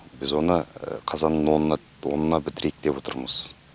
біз оны қазанның онына бітірейік деп отырмыз